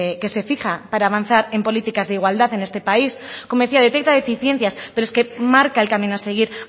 que se fija para avanzar en políticas de igualdad en este país como decía detecta deficiencias pero es que marca el camino a seguir